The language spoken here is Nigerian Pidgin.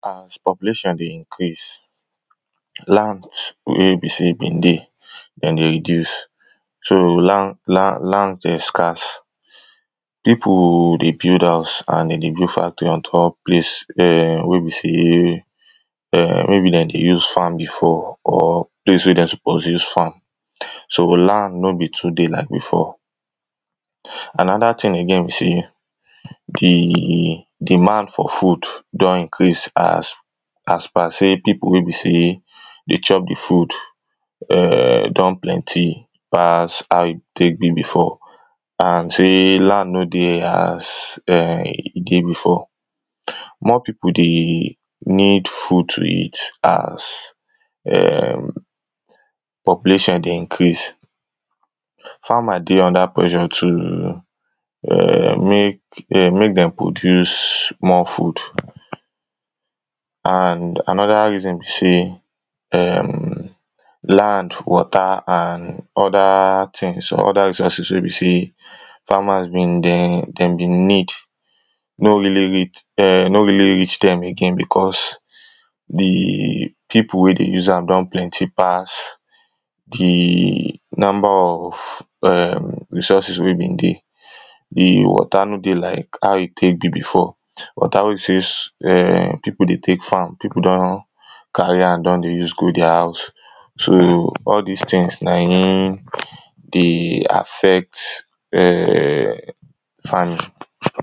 As population dey increase, land wey be sey been dey, dem dey reduce so land dey scares. Pipo dey build house and dere dey build factory on top place wey be sey[um]maybe dem dey use farm before or place wey dey suppose use farm. So land no be too dey like before, another thing again be sey di demand for food don increase as per sey pipo wey be sey dey chop di food err don plenty pass how e tek be before and sey land no dey as[um]e dey before. More pipo dey need food to eat as[um]population dey increase. Farmer dey under pressure to err mek, mek dem produce more food and another reason be say err land, water and other things some other resources wey be say farmer been dey, dem be need no really err reach dem again becos di pipo wey dey use am don plenty pass di number of err resources wey been dey. Di water no dey like how e tek dey before, water wey be sey pipo dey tek farm pipo don carry am don dey use go deir house. So all dis things na in dey affect err farming.